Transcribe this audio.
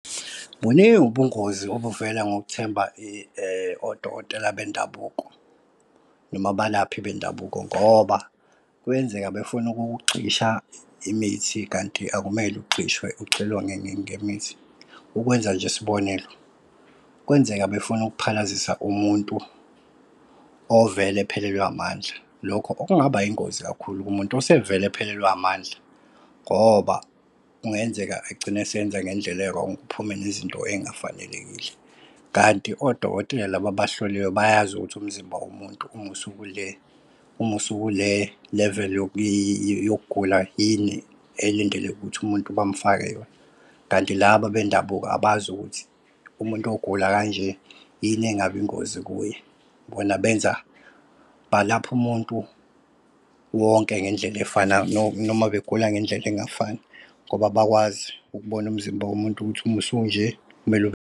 Buningi ubungozi obuvela ngothemba odokotela bendabuko noma abalaphi bendabuko ngoba kuyenzeka befune ukukugxisha imithi kanti akumele ugxishwe ugxilwa ngemithi. Ukwenza nje isibonelo, kwenzeka befune ukuphalazisa umuntu ovele ephelelwe amandla. Lokho okungaba yingozi kakhulu kumuntu osevele ephelelwe amandla ngoba kungenzeka egcine eseyenza ngendlela e-wrong kuphume nezinto ey'ngafanelekile. Kanti odokotela laba abahloliwe bayazi ukuthi umzimba umuntu usukule level yokugula yini, elindeleke ukuthi umuntu bamfake yona. Kanti laba bendabuko abazi ukuthi umuntu ogula kanje yini engabi ingozi kuye bona benza balapha umuntu wonke ngendlela efanayo noma begula ngendlela engafani. Ngoba abakwazi ukubona umzimba womuntu ukuthi uma usunje kumele .